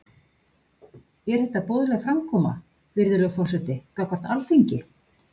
Er þetta boðleg framkoma, virðulegur forseti, gagnvart Alþingi?